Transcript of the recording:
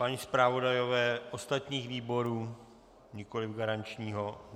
A zpravodajové ostatních výborů, nikoli garančního?